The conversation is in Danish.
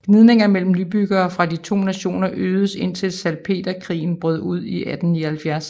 Gnidninger mellem nybyggere fra de to nationer øgedes indtil salpeterkrigen brød ud i 1879